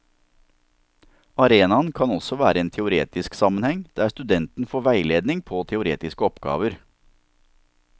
Arenaen kan også være en teoretisk sammenheng, der studenten får veiledning på teoretiske oppgaver.